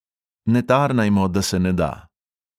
Ne tarnajmo, da se ne da.